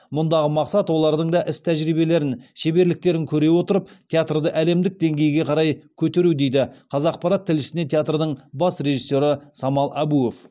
мұндағы мақсат олардың да іс тәжірибелерін шеберліктерін көре отырып театрды әлемдік деңгейге қарай көтеру деді қазақпарат тілшісіне театрдың бас режиссері самал әбуов